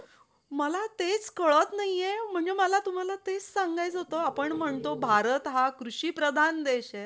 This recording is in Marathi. डोक्याला हे आहे ना, सगळं सगळं loan सुखासुखी job नाय वाटत मला.